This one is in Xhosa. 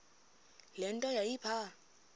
le nto yayipha